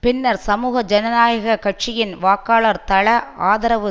பின்னர் சமூக ஜனநாயக கட்சியின் வாக்காளர் தள ஆதரவு